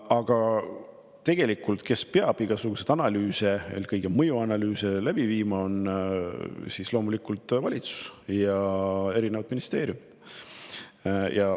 Aga tegelikult peavad igasuguseid analüüse, eelkõige mõjuanalüüse läbi viima loomulikult valitsus ja ministeeriumid.